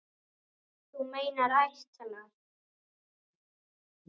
Þú meinar ætlar.